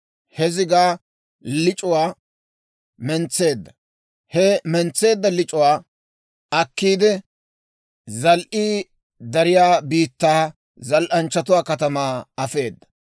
He zigaa lic'uwaa mentseedda; he mentseedda lic'uwaa akkiide, zal"ii dariyaa biittaa, zal"anchchatuwaa katamaa afeeda.